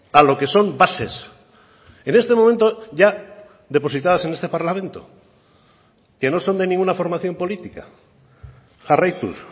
a lo que son bases en este momento ya depositadas en este parlamento que no son de ninguna formación política jarraituz